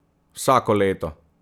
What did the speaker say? Vsako leto!